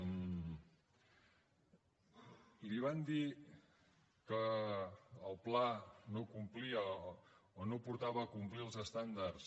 i li van dir que el pla no portava a complir els estàndards